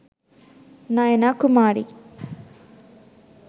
nayana kumari